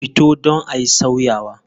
Fito don ayi sauyawa.